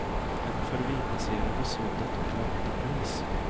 En förbipasserande såg detta och larmade polis.